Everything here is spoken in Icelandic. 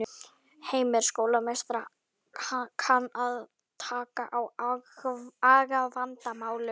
Heimir: Skólameistari kann að taka á agavandamálum?